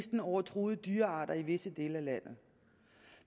over truede dyrearter i visse dele af landet